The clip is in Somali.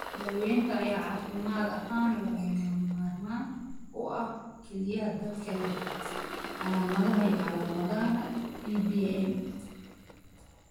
Daawaynta ayaa caafimaad ahaan lagama maarmaan u ah kaliya dadka leh calaamadaha iyo calaamadaha tracheobronchomalacika (TBM).